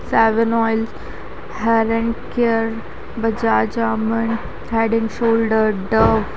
seven oil heaven care Bajaj almond head and shoulder Dove --